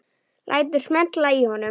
Lætur smella í honum.